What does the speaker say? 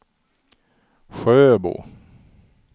Sjöbo